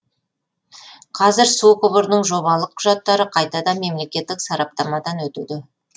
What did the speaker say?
қазір су құбырының жобалық құжаттары қайтадан мемлекеттік сараптамадан өтуде